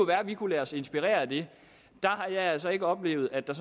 være at vi kunne lade os inspirere af det der har jeg altså ikke oplevet at der